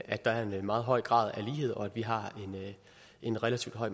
at der er en meget høj grad af lighed og at vi har en relativt høj